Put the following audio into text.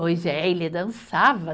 Pois é, ele dançava.